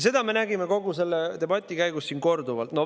Seda me nägime kogu selle debati käigus siin korduvalt.